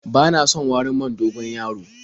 Bana son warin man dogon-yaro.